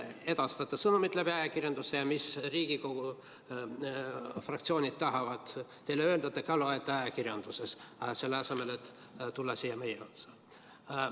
Te edastate sõnumeid ajakirjanduse vahendusel ja seda, mida Riigikogu fraktsioonid tahavad teile öelda, te ka loete ajakirjandusest, selle asemel et tulla siia meie ette.